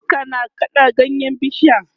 iska na kaɗa ganyen bishiyar